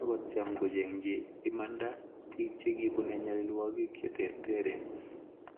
akotyem kochenchi akochengi imanda bik chekibun bichinwakik cheterteren